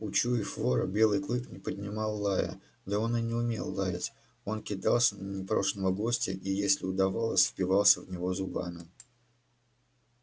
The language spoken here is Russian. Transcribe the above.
учуяв вора белый клык не поднимал лая да он и не умел лаять он кидался на непрошеного гостя и если удавалось впивался в него зубами